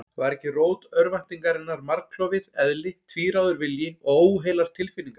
Var ekki rót örvæntingarinnar margklofið eðli, tvíráður vilji og óheilar tilfinningar?